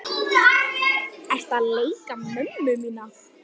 Ertu að leika mömmu mína?